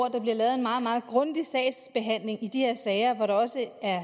at der bliver lavet en meget meget grundig sagsbehandling i de her sager hvor der også er